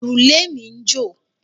Òrùlé mi ń jò.